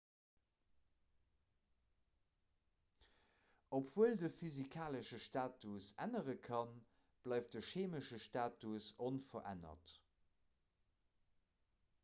obwuel de physikalesche status ännere kann bleift de cheemesche status onverännert